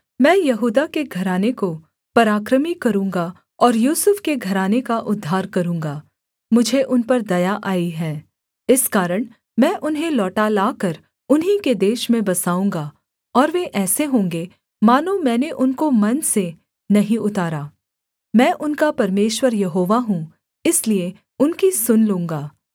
मैं यहूदा के घराने को पराक्रमी करूँगा और यूसुफ के घराने का उद्धार करूँगा मुझे उन पर दया आई है इस कारण मैं उन्हें लौटा लाकर उन्हीं के देश में बसाऊँगा और वे ऐसे होंगे मानो मैंने उनको मन से नहीं उतारा मैं उनका परमेश्वर यहोवा हूँ इसलिए उनकी सुन लूँगा